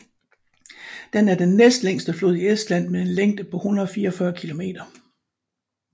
Den er den næstlængste flod i Estland med en længde på 144 km